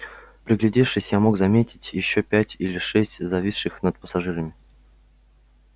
приглядевшись я мог заметить ещё пять или шесть зависших над пассажирами